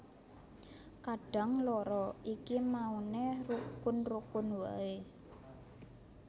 Kadang loro iki mauné rukun rukun waé